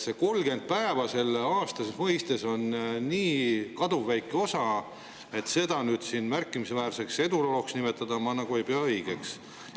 See 30 päeva on nii kaduvväike osa, et seda märkimisväärseks edulooks nimetada ma nagu ei pea õigeks.